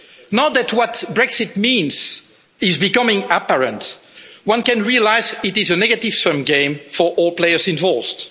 Now that what Brexit means is becoming apparent, one can realise it is a negative sum game for all players involved.